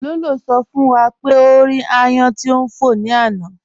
Ló̩ló̩ sọ̀ fún wá pé o rí àyán tí n fọ ní ànà.